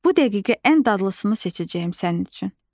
Bu dəqiqə ən dadlısını seçəcəyəm sənin üçün.